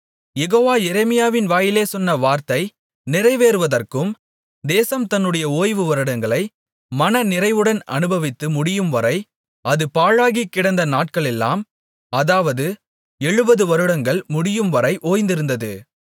யெகோவா எரேமியாவின் வாயினாலே சொன்ன வார்த்தை நிறைவேறுவதற்கு தேசம் தன்னுடைய ஓய்வு வருடங்களை மனநிறைவுடன் அனுபவித்து முடியும்வரை அது பாழாகிக்கிடந்த நாட்களெல்லாம் அதாவது எழுபது வருடங்கள் முடியும்வரை ஓய்ந்திருந்தது